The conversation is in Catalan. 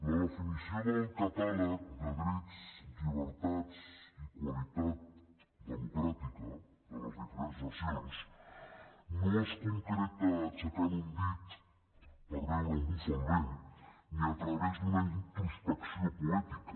la definició del catàleg de drets llibertats i qualitat democràtica de les diferents nacions no es concreta aixecant un dit per veure on bufa el vent ni a través d’una introspecció poètica